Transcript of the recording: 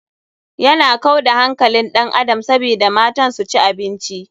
Yana kau da hankalin ɗan adam sabida matan su ci abinci.